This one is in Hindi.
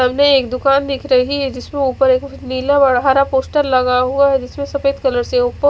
सामने एक दुकान दिख रही है जिसमे उपर एक नीला और हरा पोस्टर लगा हुआ है जिसमे सफेद कलर से उपर--